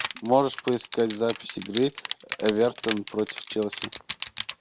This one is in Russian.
можешь поискать запись игры эвертон против челси